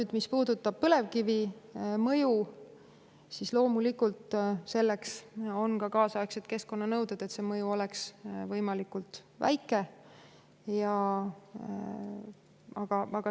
Aga mis puudutab põlevkivi mõju, siis selle on sätestatud kaasaegsed keskkonnanõuded, et see mõju oleks võimalikult väike.